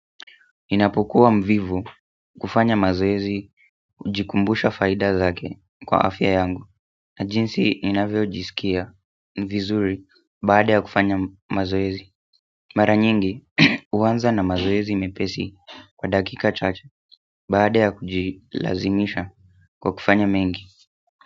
Ninapokuwa mvivu kufanya mazoezi hujikumbusha faida zake kwa afya yangu na jinsi ninavyojisikia vizuri baada ya kufanya mazoezi mara nyingi huanza na mazoezi mepesi kwa dakika chacha baada ya kujilazimisha kwa kufanya mengi.